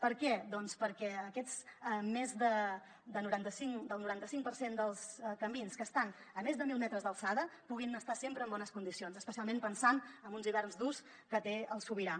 per què doncs perquè aquest més del noranta cinc per cent dels camins que estan a més de mil metres d’alçada puguin estar sempre en bones condicions especialment pensant en uns hiverns durs que té el sobirà